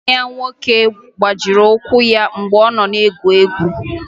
Nwanne ya nwoke gbajiri ụkwụ ya mgbe ọ nọ na-egwu egwu